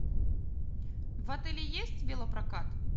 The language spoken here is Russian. в отеле есть велопрокат